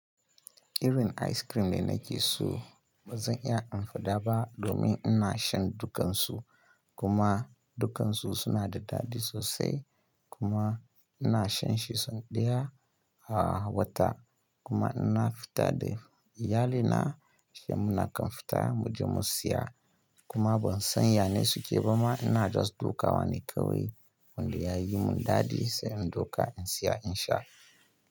Irin ice cream ne na ke so, bazan iya amfada ba domin ina shan dukansu kuma dukansu suna da daɗi sosai kuma ina shan shi sau ɗaya a wata kuma ina fita da iyalina shamu na kan fita muje mu siya kuma ban san yanai suke ba ma ina just ɗoka wane kawai wanda ya yi min daɗi sai in ɗoka in siya in sha.